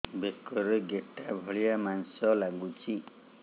ବେକରେ ଗେଟା ଭଳିଆ ମାଂସ ଲାଗୁଚି